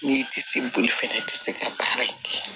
N'i tɛ se boli fɛnɛ i tɛ se ka baara in kɛ